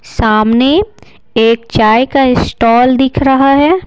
सामने एक चाय का इस्टॉल दिख रहा है।